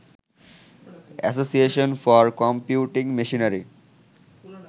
association for computing machinery